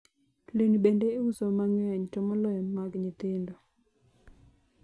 nguo pia huuzwa kwa wingi hasa za watoto